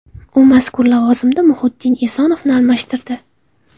U mazkur lavozimda Muhiddin Esonovni almashtirdi.